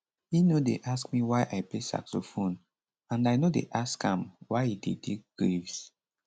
e no dey ask me why i play saxophone and i no dey ask am why e dey dig graves